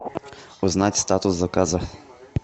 узнать статус заказа